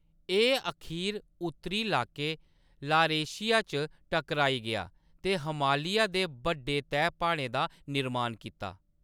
एह्‌‌ अखीर उत्तरी इलाके, लारेशिया च टकराई गेआ ते हमालिया दे बड्डे तैह्‌‌ प्हाड़ें दा निर्माण कीता।